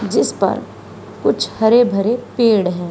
जिसपर कुछ हरे भरे पेड़ है।